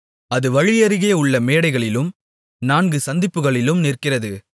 அது வழியருகே உள்ள மேடைகளிலும் நான்கு சந்திப்புகளிலும் நிற்கிறது